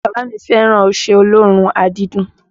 Bàbá mi fẹ́ràn ọṣẹ olóòórùn àdídùn